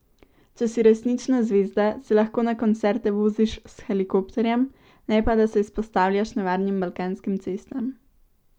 Če si resnična zvezda, se lahko na koncerte voziš s helikopterjem, ne pa da se izpostavljaš nevarnim balkanskim cestam.